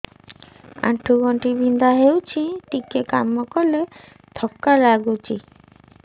ଆଣ୍ଠୁ ଗଣ୍ଠି ବିନ୍ଧା ହେଉଛି ଟିକେ କାମ କଲେ ଥକ୍କା ଲାଗୁଚି